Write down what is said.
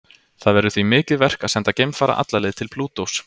Það verður því mikið verk að senda geimfara alla leið til Plútós.